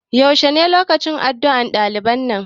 yaushe ne lokacin addu'ar ɗaliban nan?